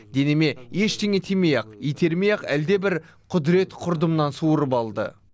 денеме ештеңе тимей ақ итермей ақ әлдебір құдірет құрдымнан суырып алды